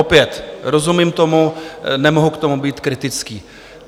Opět rozumím tomu, nemohu k tomu být kritický.